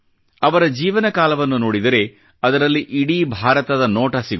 ಅವರ ಜೀವನ ಕಾಲವನ್ನು ನೋಡಿದರೆ ಅದರಲ್ಲಿ ಇಡೀ ಭಾರತದ ನೋಟ ಸಿಗುತ್ತದೆ